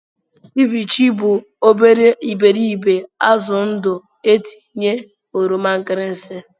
Ceviche bụ obere iberibe azụ ndụ etinye oroma nkirisi.